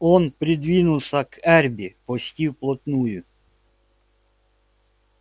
он придвинулся к эрби почти вплотную